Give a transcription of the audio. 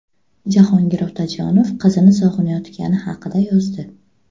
Jahongir Otajonov qizini sog‘inayotgani haqida yozdi.